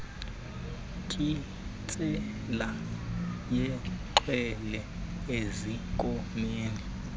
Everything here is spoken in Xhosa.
nkintsela yexhwele ezinkomeni